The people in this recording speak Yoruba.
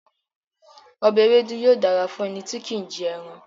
Ọbẹ̀ ewédú yóò dára fún ẹni tí kì í jẹran.